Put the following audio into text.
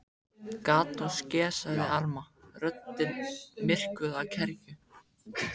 Gat nú skeð sagði Elma, röddin myrkvuð af kergju.